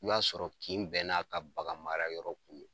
I b'a sɔrɔ kin bɛɛ n'a ka bagan mara yɔrɔ kun don.